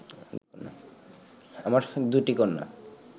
আমার দুটি কন্যা